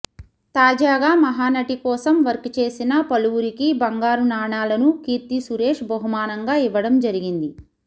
తాజాగా మహానటి కోసం వర్క్ చేసిన పలువురికి బంగారు నాణాలను కీర్తి సురేష్ బహుమానంగా ఇవ్వడం జరిగింది